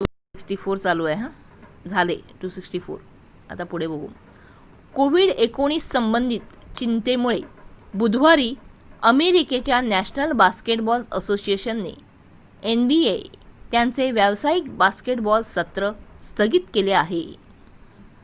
COVID-19 संबंधित चिंतेमुळे बुधवारी अमेरिकेच्या नॅशनल बास्केटबॉल असोसिएशनने एनबीए त्यांचे व्यावसायिक बास्केटबॉल सत्र स्थगित केले आहे